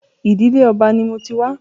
Ìdílé Ọba ni mo ti wá.